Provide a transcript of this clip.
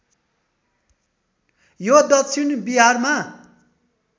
यो दक्षिण बिहारमा